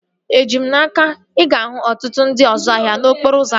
Eji m n'aka, ị ga-ahụ ọtụtụ ndị ọzu ahịa n'okporo ụzọ ahụ